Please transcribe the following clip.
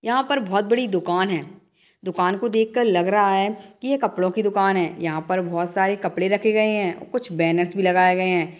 यहाँ पर बहोत बड़ी दुकान है । दुकान को देखकर लग रहा है कि यह कपड़ों की दुकान है यहाँ पर बहुत सारे कपड़े रखे गए हैं और कुछ बैनर्स भी लगाए गए हैं ।